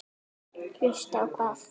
Hlusta á hvað?